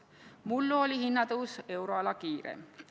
Mullu oli hinnatõus euroala kiireim.